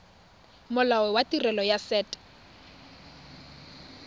molao wa tirelo ya set